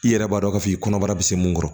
I yɛrɛ b'a dɔn k'a fɔ i kɔnɔbara bɛ se mun kɔrɔ